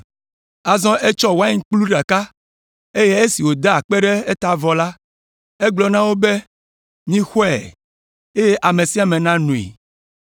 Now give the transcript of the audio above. Azɔ etsɔ wainkplu ɖeka, eye esi wòda akpe ɖe eta vɔ la, egblɔ na wo be, “Mixɔe, eye ame sia ame nanoe.